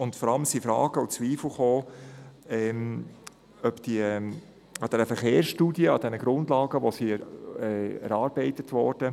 Vor allem kamen Zweifel auf, ob diese 10 Prozent, die in den Verkehrsstudien, also in den erarbeiteten Grundlagen, auftauchten, realistisch sind.